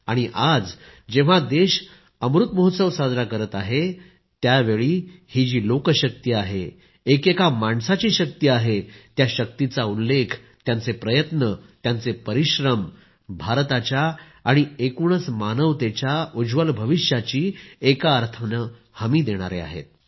आणि आज जेव्हा देश अमृत महोत्सव साजरा करत आहे त्यावेळी ही जी लोकशक्ती आहे एकेका माणसाची शक्ती आहे त्या शक्तीचा उल्लेख त्यांचे प्रयत्न त्यांचे परिश्रम भारताच्या आणि एकूणच मानवतेच्या उज्ज्वल भविष्याची एका अर्थाने हमी देणारे आहेत